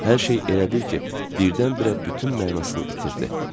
Hər şey elə bil ki, birdən-birə bütün mənasını itirdi.